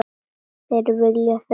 Þetta vilja þau vera.